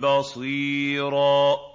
بَصِيرًا